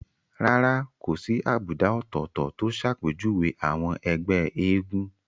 Rárá kò sí àbùdá ọ̀tọ̀ọ̀tọ̀ tó ṣàpèjúwe àwọn ẹgbẹ́ eégún